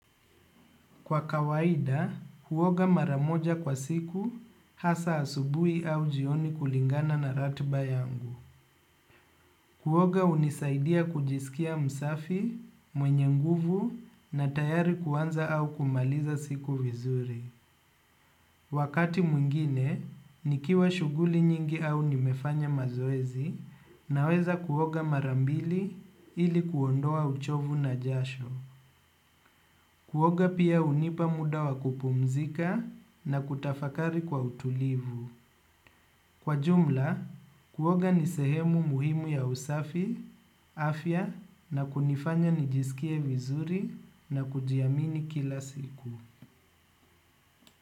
Kwa kawaida, kuoga maramoja kwa siku hasa asubui au jioni kulingana na ratiba yangu. Kuoga hunisaidia kujisikia msafi, mwenye nguvu na tayari kuanza au kumaliza siku vizuri. Wakati mwingine, nikiwa shughuli nyingi au nimefanya mazoezi naweza kuoga mara mbili ili kuondoa uchovu na jasho. Kuoga pia hunipa muda wa kupumzika na kutafakari kwa utulivu. Kwa jumla, kuoga ni sehemu muhimu ya usafi, afya na kunifanya nijisikie vizuri na kujiamini kila siku.